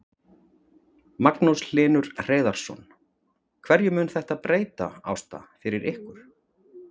Magnús Hlynur Hreiðarsson: Hverju mun þetta breyta, Ásta, fyrir ykkur?